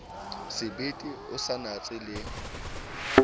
sebete o sa natse le